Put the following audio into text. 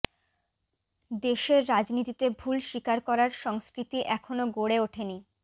দেশের রাজনীতিতে ভুল স্বীকার করার সংস্কৃতি এখনো গড়ে ওঠেনি